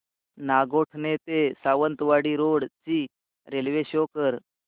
नागोठणे ते सावंतवाडी रोड ची railway show कर